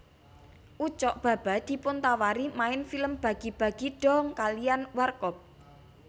Ucok Baba dipuntawari main film Bagi bagi Dong kaliyan Warkop